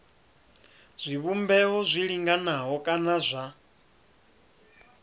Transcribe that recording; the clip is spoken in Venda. zwivhumbeo zwi linganaho kana zwa